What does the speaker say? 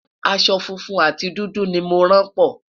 aṣọ funfun àti dúdú ní mọ ràn po